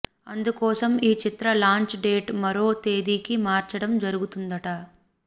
అందుకోసం ఈ చిత్ర లాంచ్ డేట్ మరో తేది కి మార్చడం జరుగుతుందట